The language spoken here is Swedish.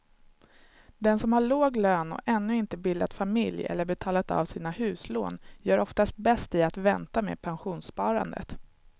Den som har låg lön och ännu inte bildat familj eller betalat av sina huslån gör oftast bäst i att vänta med pensionssparandet.